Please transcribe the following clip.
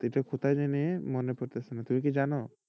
এটা কোথায় জানি মনে পড়তেছে না তুমি কি জানো?